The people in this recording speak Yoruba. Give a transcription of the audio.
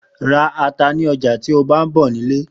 Ra ata ni ọjà tí ó bá ń bọ̀ nílé